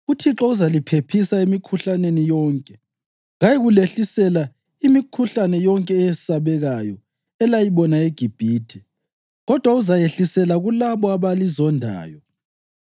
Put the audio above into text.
UThixo uzaliphephisa emikhuhlaneni yonke. Kayikulehlisela imikhuhlane yonke eyesabekayo elaliyibona eGibhithe, kodwa uzayehlisela kulabo abalizondayo.